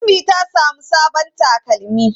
Ummi ta samu sabon takalmi.